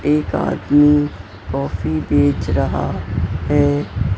एक आदमी कॉफी बेच रहा है।